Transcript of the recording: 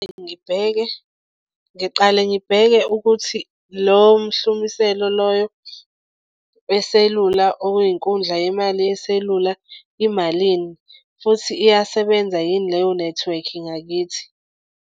Ngibheke ngiqale ngibheke ukuthi lowo mhlumiselo loyo weselula oyinkundla yemali yeselula imalini futhi iyasebenza yini leyo nethiwekhi ngakithi.